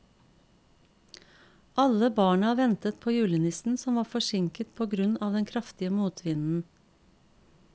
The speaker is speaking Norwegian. Alle barna ventet på julenissen, som var forsinket på grunn av den kraftige motvinden.